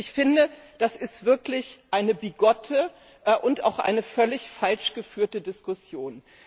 Ich finde, das ist wirklich eine bigotte und auch völlig falsch geführte Diskussion.